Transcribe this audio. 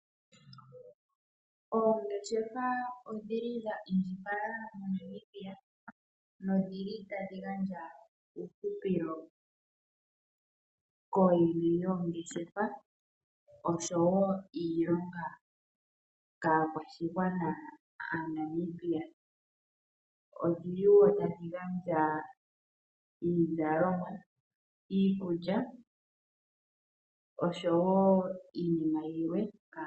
Oongeshefa odhili dha indjipala moNamibia nodhili ta dhi gandja uuhupilo kooyene yoongeshefa osho woo iilonga kaakwashigwana aaNamibia. Odhili woo tadhi gandja iizalomwa, iikulya, osho woo iinima yilwe.